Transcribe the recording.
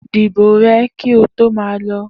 Di ìbò rẹ ki o to ma lo